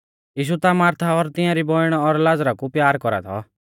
यीशु ता मारथा और तियांरी बौइण और लाज़रा कु प्यार कौरा थौ